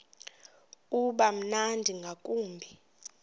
uba mnandi ngakumbi